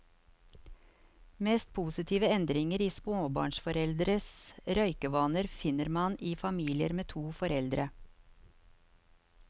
Mest positive endringer i småbarnsforeldres røykevaner finner man i familier med to foreldre.